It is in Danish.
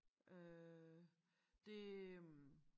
Øh det øh